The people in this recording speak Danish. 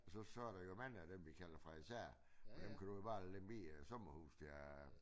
Og så så der jo mange af dem vi kalder farisæer og dem kan du jo bare Lemvig øh sommerhuse der er